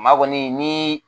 Maa kɔni ni